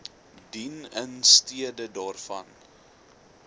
dien instede daarvan